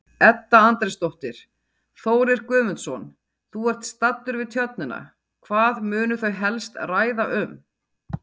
Edda Andrésdóttir: Þórir Guðmundsson, þú ert staddur við Tjörnina, hvað munu þau helst ræða um?